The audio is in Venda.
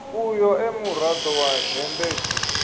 uyo e murado wa dzhendedzi